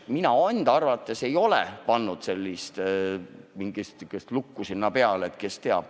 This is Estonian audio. Mina enda arvates ei ole oma andmeid lukku pannud.